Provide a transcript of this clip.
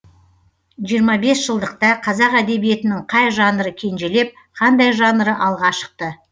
жиырма бес жылдықта қазақ әдебеиетінің қай жанры кенжелеп қандай жанры алға шықты